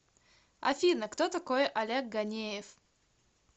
афина кто такой олег ганеев